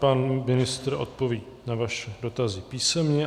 Pan ministr odpoví na vaše dotazy písemně.